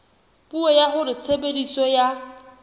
puo ya hore tshebediso ya